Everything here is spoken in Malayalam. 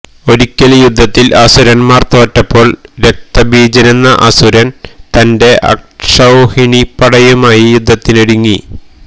ഒരിയ്ക്കൽ യുദ്ധത്തിൽ അസുരന്മാർ തോറ്റപ്പോൾ രക്തബീജനെന്ന അസുരൻ തന്റെ അക്ഷൌഹിണിപടയുമായി യുദ്ധത്തിനൊരുങ്ങി